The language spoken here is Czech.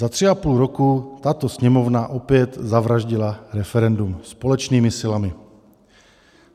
Za tři a půl roku tato Sněmovna opět zavraždila referendum společnými silami.